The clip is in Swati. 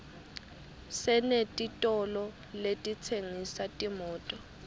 senetitolo letitsengisa timoto